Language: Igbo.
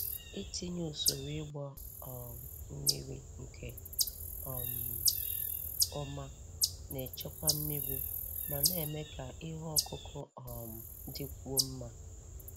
Itinye usoro ịgba um mmiri nke um ọma na-echekwa mmiri ma na-eme ka ihe ọkụkụ um dịkwuo mma.